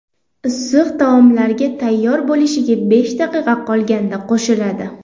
Issiq taomlarga tayyor bo‘lishiga besh daqiqa qolganda qo‘shiladi.